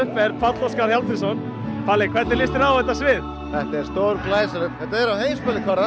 er Páll Óskar palli hvernig lýst þér á þetta þetta er á heimsmælikvarða